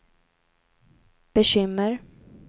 bekymmer